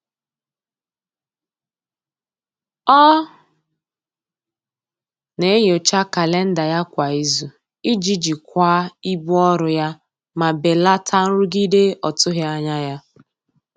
Ọ na-enyocha kalenda ya kwa izu iji jikwaa ibu ọrụ ya ma belata nrụgide ọtụghị anya ya.